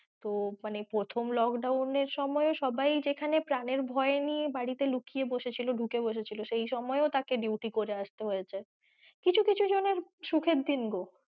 তো মানে প্রথম lockdown এর সময় ও সবাই যেখানে প্রানের ভয় নিয়ে বাড়িতে লুকিয়ে বসে ছিল ঢুকে বসেছিল সেই সময়ও তাকে duty করে আসতে হয়েছে কিছু কিছু জনের সুখের দিন গো।